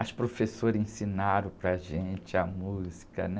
As professoras ensinaram para gente a música, né?